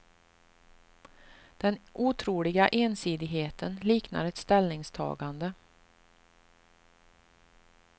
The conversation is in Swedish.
Den otroliga ensidigheten liknar ett ställningstagande.